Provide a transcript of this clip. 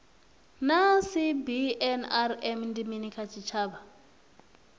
naa cbnrm ndi mini kha tshitshavha